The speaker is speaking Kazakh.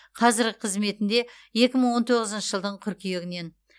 қазіргі қызметінде екі мың он тоғызыншы жылдың қыркүйегінен